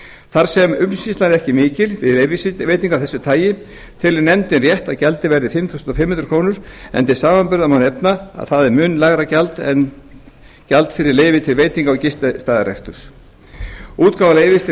þar sem umsýsla er ekki mikil við leyfisveitingar af þessu tagi telur nefndin rétt að gjaldið verði fimm þúsund fimm hundruð krónur en til samanburðar má nefna að það er mun lægra en gjald fyrir leyfi til veitinga og gististaðareksturs útgáfa leyfis til